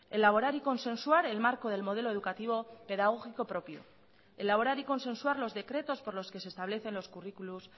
elaborar y consensuar el marco del modelo educativo pedagógico propio elaborar y consensuar los decretos por los que se establecen los currículos